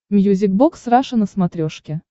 мьюзик бокс раша на смотрешке